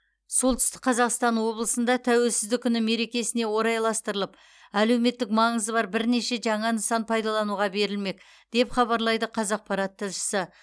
солтүстік қазақстан облысында тәуелсіздік күні мерекесіне орайластырылып әлеуметтік маңызы бар бірнеше жаңа нысан пайдалануға берілмек деп хабарлайды қазақпарат тілшісі